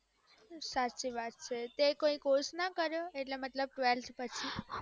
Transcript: સાચી વાત છે તે કોઈ course ના કર્યો એટલે મતલબ ત્વેલ્થ પછી